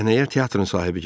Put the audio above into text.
Səhnəyə teatrın sahibi gəldi.